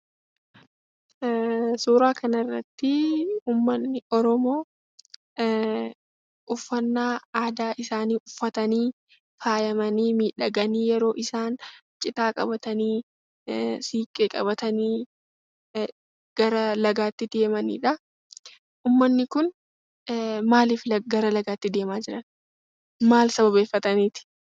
Suuraa kanarratti ummanni Oromoo uffata aadaa isaanii uffatanii faayamii miidhaganii yeroo isaan citaa qabatanii siinqee qabatanii gara lagaatti deemanii dha. Ummanni kun maaliif gara lagaatti deemaa jiru? Maal sababeeffataniiti?